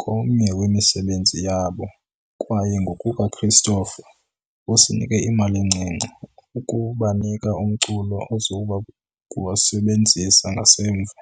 komnye wemisebenzi yabo kwaye, ngokukaChristopher, " usinike imali encinci ukubanika umculo oza kuwusebenzisa ngasemva"